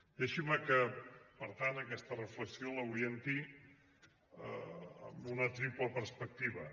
deixin me que per tant aquesta reflexió l’orienti amb una triple perspectiva